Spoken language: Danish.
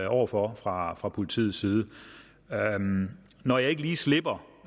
over for fra fra politiets side når jeg ikke lige slipper